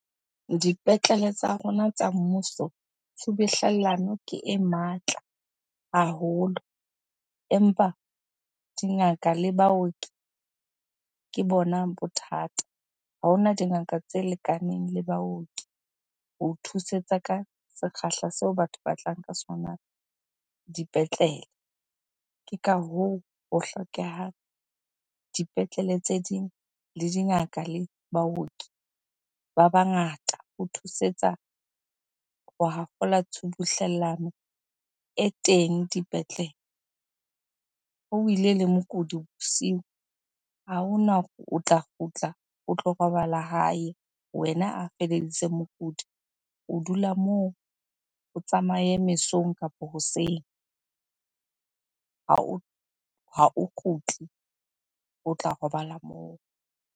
Dipetlele tsa rona tsa mmuso tshubuhlellano ke e matla haholo empa dingaka le baoki ke bona bothata. Ha hona dingaka tse lekaneng le baoki ho thusetsa ka sekgahla seo batho ba tlang ka sona dipetlele. Ke ka hoo, ho hlokehang dipetlele tse ding, le dingaka le baoki ba bangata ho thusetsa ho hafola tshubuhlellano e teng dipetlele. Ha o ile le mokudi bosiu, ha hona hore o tla kgutla o tlo robala hae. Wena a feleditseng mokudi o dula moo, o tsamaye mesong kapo hoseng. Ha o kgutle, o tla robala moo.